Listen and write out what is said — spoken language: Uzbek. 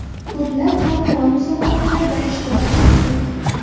Ko‘plab xalqaro musobaqalarda ishtirok etdik.